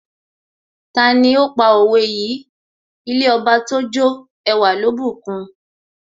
Tani ó pa òwe yìí " ilé Ọba tójó ẹwà ló bùkun?